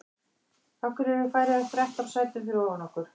Af hverju eru Færeyjar þrettán sætum fyrir ofan okkur?